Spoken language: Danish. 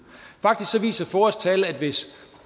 faktisk viser foas tal at hvis